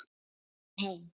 Hún er komin heim.